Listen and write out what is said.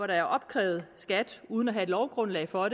der er opkrævet skat uden lovgrundlag for